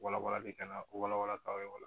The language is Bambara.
Wala walali ka na wala wala ka ye o la